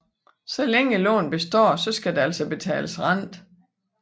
Så længe lånet består skal der altså betales rente